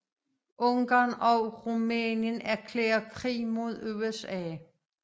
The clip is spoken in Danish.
Ungarn og Rumænien erklærer krig mod USA